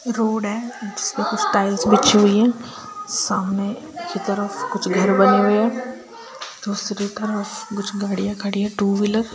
road है जिसपे कुछ टाइल्स बिछी हुई हैं सामने के तरफ कुछ घर बनी ]